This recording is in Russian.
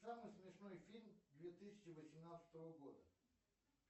самый смешной фильм две тысячи восемнадцатого года